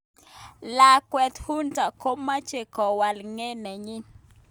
Lawket Hunta komache kowal nge nenyin